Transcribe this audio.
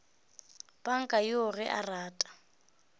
panka yoo ge a rata